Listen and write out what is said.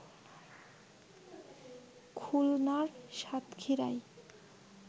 খুলনার সাতক্ষীরায়